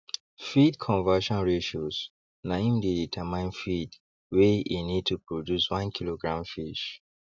feed conversion ratios na im dey determine feed wey e need to produce one kilogram fish